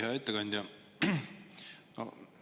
Hea ettekandja!